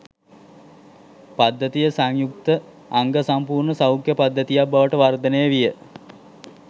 පද්ධතිය සංයුක්ත අංග සම්පුර්ණ සෞඛ්‍ය පද්ධතියක් බවට වර්ධනය විය